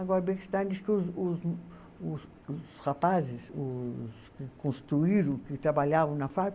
Agora, Bechstein diz que os os os os rapazes os que construíram, que trabalhavam na fábrica,